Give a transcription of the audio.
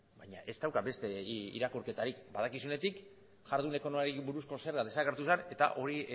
baina ez dauka beste irakurketarik badakizunetik jardun ekonomikoari buruzko zerga desagertu zen eta hori